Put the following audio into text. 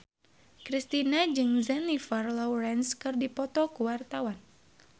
Kristina jeung Jennifer Lawrence keur dipoto ku wartawan